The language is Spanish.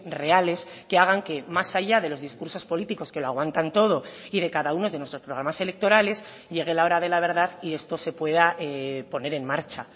reales que hagan que más allá de los discursos políticos que lo aguantan todo y de cada uno de nuestros programas electorales llegue la hora de la verdad y esto se pueda poner en marcha